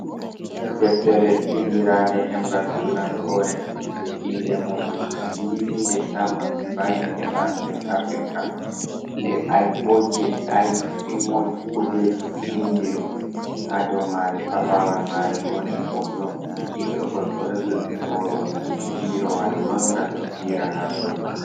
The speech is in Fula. Ɗeftere vinɗiranɗe ɗemgal turankore. Ɗe inɗe muɗum livinɗe tammak, bayin e bank in afirika. Ɗe aibo je Ai immo kude vinɗi ɗum. Ha ɗow mare paɓawal mare woɗi hoto. Ɓiɗɗo gorko ɗo jogi ɓoro, ɗe pirowal mangal ɗo fira ha ɗow.